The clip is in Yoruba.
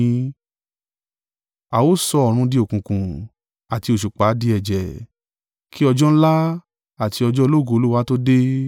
A ó sọ oòrùn di òkùnkùn, àti òṣùpá di ẹ̀jẹ̀, kí ọjọ́ ńlá àti ọjọ́ ológo Olúwa tó dé.